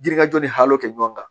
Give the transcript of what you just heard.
Jiri kajɔ ni halo kɛ ɲɔgɔn kan